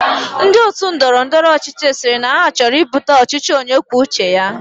Ndi otu Ndọrọ ndọrọ ọchịchị siri na choro ibuta ọchịchị onye kwuo uche ya